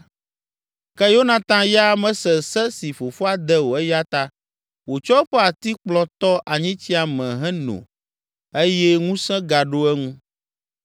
Ke Yonatan ya mese se si fofoa de o eya ta wòtsɔ eƒe atikplɔ tɔ anyitsia me heno eye ŋusẽ gaɖo eŋu.